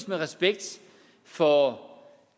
med respekt for